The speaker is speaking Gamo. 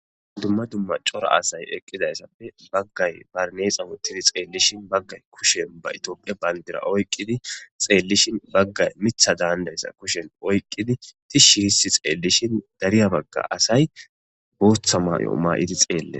Dumma dumma cora asay eqqidayssappe baggay barneexa wuttidi xeellishin baggay kushen ba itophia bayndira oyqqidi xeellishin baggay mitha daandayssa kushen oyqqidi tishshi hissi xeellishin dariya bagga asay booththa mayo maay'idi xeelle